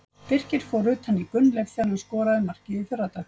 Birkir fór utan í Gunnleif þegar hann skorað markið í fyrradag.